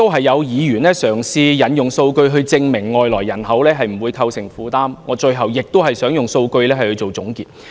有議員嘗試引用數據以證明外來人口不會構成負擔，我最後亦想引用數據來做總結。